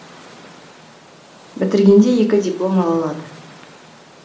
бітіргенде екі диплом ала алады